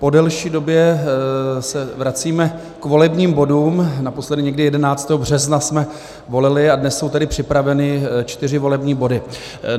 Po delší době se vracíme k volebním bodům, naposledy někdy 11. března jsme volili a dnes jsou tedy připraveny čtyři volební body.